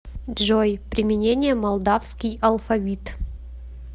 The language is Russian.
джой применение молдавский алфавит